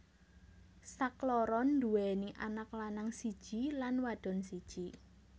Sakloron anduwèni anak lanang siji lan wadon siji